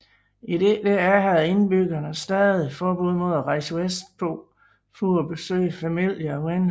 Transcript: I DDR havde indbyggerne stadig forbud mod at rejse vestpå for at besøge familie og venner